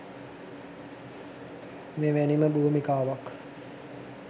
මෙවැනිම භූමිකාවක්